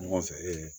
Ɲɔgɔn fɛ ee